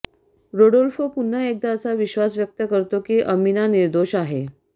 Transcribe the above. Rodolfo पुन्हा एकदा असा विश्वास व्यक्त करतो की अमिना निर्दोष आहे